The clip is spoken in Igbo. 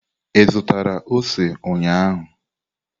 Ị zụtara ose ụnyahụ?